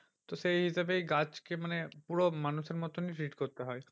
তো সেই হিসেবে গাছকে মানে পুরো মানুষের মতনই treat করতে হয়।